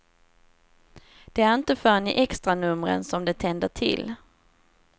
Det är inte förrän i extranumren som det tänder till.